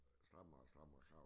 Strammere og strammere krav